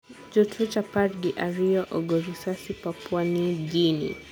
jo twech apar gi ariyo ogo risasiPapua New Guinea.